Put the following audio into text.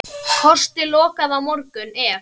Kosti lokað á morgun ef.